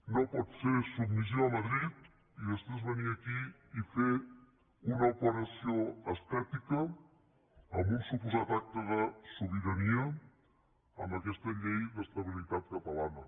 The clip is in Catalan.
no pot ser submissió a madrid i després venir aquí i fer una operació estètica amb un suposat acte de sobirania amb aquesta llei d’estabilitat catalana